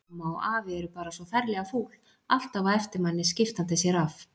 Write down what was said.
Amma og afi eru bara svo ferlega fúl, alltaf á eftir manni, skiptandi sér af.